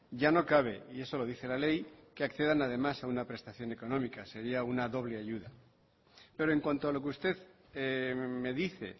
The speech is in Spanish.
ya no cabe y eso lo dice la ley que accedan además a una prestación económica sería una doble ayuda pero en cuanto a lo que usted me dice